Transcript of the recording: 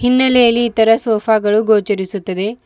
ಹಿನ್ನೆಲೆಯಲಿ ಈ ತರ ಸೋಫಾ ಗಳು ಗೊಚರಿಸುತ್ತದೆ.